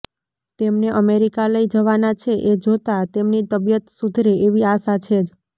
તેમને અમેરિકા લઈ જવાના છે એ જોતાં તેમની તબિયત સુધરે એવી આશા છે જ